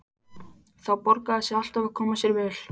Það borgaði sig alltaf að koma sér vel.